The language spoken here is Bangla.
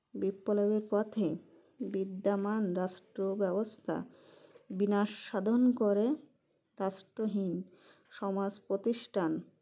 বিপ্লবের পথে বিদ্যামান রাষ্ট্রব্যবস্থা বিনাশ সাধন করে রাষ্ট্রহীন সমাজ প্রতিষ্ঠান